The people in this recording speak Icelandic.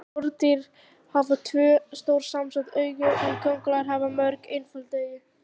Skordýr hafa tvö, stór samsett augu en kóngulær hafa mörg, einföld augu.